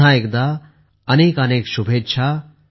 पुन्हा एकदा अनेकानेक शुभेच्छा